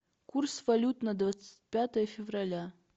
курс валют на двадцать пятое февраля